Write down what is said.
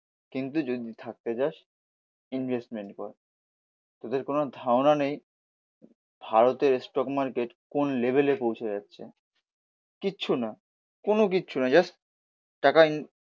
কিন্তু যদি থাকতে চাস ইনভেস্টমেন্ট কর, তোদের কোনো ধারণা নেই ভারতের স্টক মার্কেট কোন লেভেলের পৌঁছে যাচ্ছে। কিছু না কোনো কিছু না জাস্ট টাকা ইন